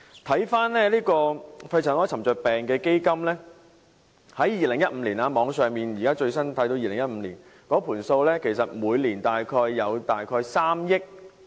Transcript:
回看肺塵埃沉着病補償基金，在網上最新看到2015年的帳目，每年大約有3億元......